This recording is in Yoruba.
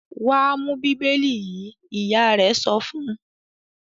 "Wà á mú Bíbélì yìí!" Ìyá rẹ̀ sọ fún un.